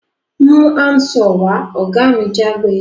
Mú hand saw wá! ògá mi jágbe